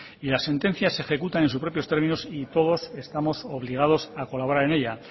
y las sentencias se ejecutan en sus propios términos y todos estamos obligados a colaborar en ella